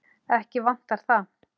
Ekki vantar það.